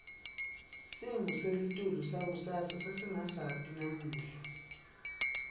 simo selitulu sangakusasa sesingasati namuhla